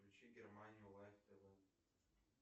включи германию лайв тв